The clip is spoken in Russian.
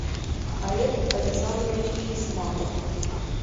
олег александрович хисматов